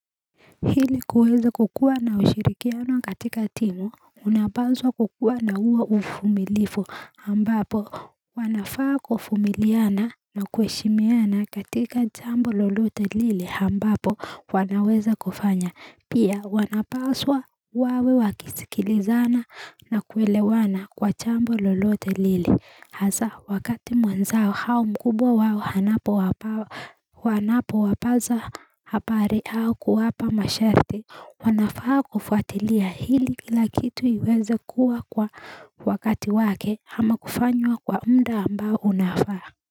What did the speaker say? Hili kuweza kukua na ushirikiano katika timu unapaswa kukua na huwa ufumilifu ambapo wanafaa kufumiliana na kueshimiana katika chambo lolote lile ambapo wanaweza kufanya Pia wanapaswa wawe wakisikilizana na kuelewana kwa chambo lolote lile. Haza wakati mwenzao hao mkubwa wao hanapo wapaza hapari hao kuwapa masharti wanafaa kufuatilia hili kila kitu iweze kuwa kwa wakati wake ama kufanywa kwa mda ambao unafaa.